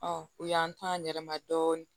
u y'an to a yɛrɛma dɔɔni